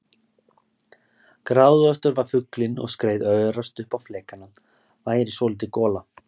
Gráðugastur var fuglinn og skreið örast upp á flekana væri svolítil gola.